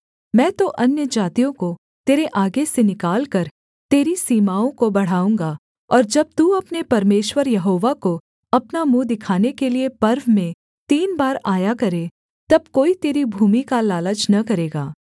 मैं तो अन्यजातियों को तेरे आगे से निकालकर तेरी सीमाओं को बढ़ाऊँगा और जब तू अपने परमेश्वर यहोवा को अपना मुँह दिखाने के लिये वर्ष में तीन बार आया करे तब कोई तेरी भूमि का लालच न करेगा